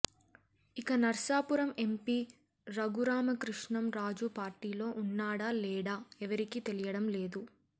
ఇక నర్సాపురం ఎంపీ రఘురామకృష్ణం రాజు పార్టీలో ఉన్నాడా లేడా ఎవరికీ తెలియడం లేదు